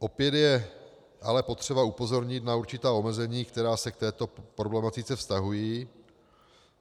Opět je ale potřeba upozornit na určitá omezení, která se k této problematice vztahují.